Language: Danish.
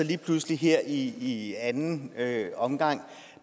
lige pludselig her i anden omgang